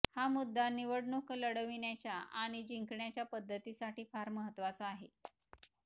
हा मुद्दा निवडणुका लढविण्याच्या आणि जिंकण्याच्या पद्धतीसाठी फार महत्त्वाचा आहे